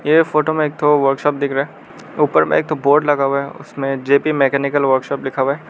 ये फोटो में एक ठो वर्कशॉप दिख रहा है ऊपर में एक ठो बोर्ड लगा हुआ है उसमें जे पी मैकेनिकल वर्कशॉप लिखा हुआ है।